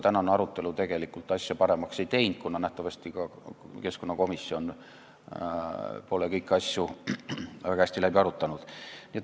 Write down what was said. Tänane arutelu tegelikult asja paremaks ei teinud, kuna nähtavasti ka keskkonnakomisjon pole kõiki asju väga hästi läbi arutanud.